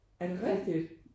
Er det rigtigt?